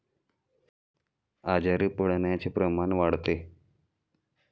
आजारी पडण्याचे प्रमाण वाढते.